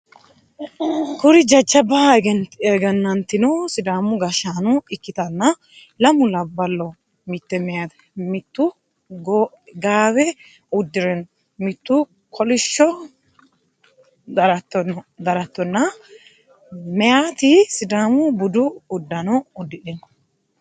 Kuri jajjaba egenantino sidaamu gashshaano ikkitanna lamu labbaloho mitte meyaate mittu gaawe uddire no mittu kolisho daratto na meyaati sidaamu budu uddano udidhino